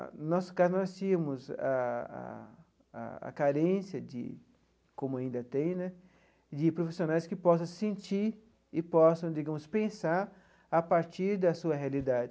No nosso caso, nós tínhamos a a a carência de, como ainda tem né, de profissionais que possam se sentir e possam, digamos, pensar a partir da sua realidade.